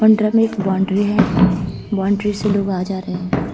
Boundary है। Boundary से लोग आ-जा रहे हैं।